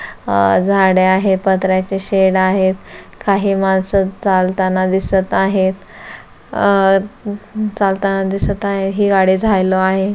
अह झाडे आहेत. पत्र्याचे शेड आहेत काही माणस चालताना दिसत आहेत. अह चालताना दिसत आहे. ही गाडी आहे.